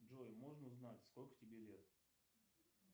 джой можно узнать сколько тебе лет